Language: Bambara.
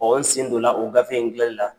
Ɔn n sen donna o gafe in gilan ni la.